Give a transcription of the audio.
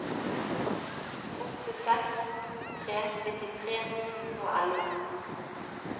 åtte seks to tre nittitre ni hundre og elleve